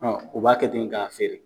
Ɔ u b'a kɛ ten k'a feere.